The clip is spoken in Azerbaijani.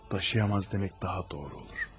Daşıya bilməz demək daha doğru olar.